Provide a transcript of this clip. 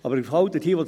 Aber es ist halt so: